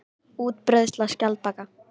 Útbreiðsla skjaldbaka.